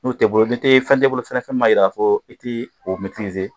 N'o tɛ i bolo ni fɛn tɛ i bolo fana fɛn min b'a jira fana k'a fɔ i tɛ